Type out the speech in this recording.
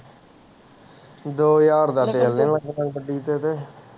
ਦੋ ਹਜ਼ਾਰ ਦਾ ਤੇਲ ਨੀ ਮੁੱਕਣਾ ਗੱਡੀ ਚ ਤੇ